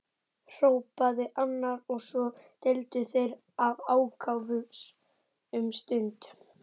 hrópaði annar, og svo deildu þeir af ákafa um stund.